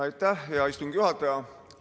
Aitäh, hea istungi juhataja!